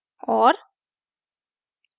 और